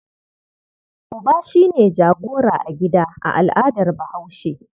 Uba shi ne jagora a gida a al'adar Bahaushe.